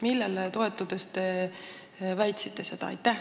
Millele toetudes te seda väitsite?